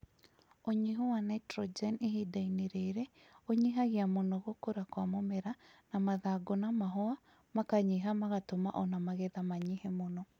Unyihu wa Nitrogen ihindainĩ rĩrĩ ũnyihagia mũno gũkũra kwa mũmera na mathangũ na mahũa makanyiha magatũma ona magetha manyihe muno